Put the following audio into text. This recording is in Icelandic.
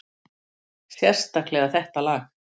Sérstaklega þetta lag.